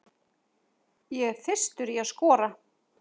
Ég er þyrstur í að skora.